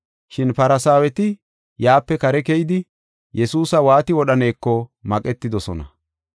Shin Farsaaweti yaape kare keyidi, Yesuusa waati wodhaneko maqetidosona.